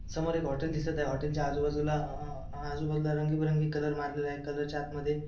समोर एक हॉटेल दिसत आहे हॉटेल च्या आजूबाजूला अ आजूबाजूला रंगीबिरंगी कलर मारलेला आहे कलर च्या आतमध्ये --